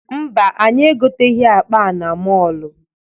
Mba, anyị egoteghị akpa a na mọọlụ.